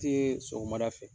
Tɛ sɔgɔmada fɛ.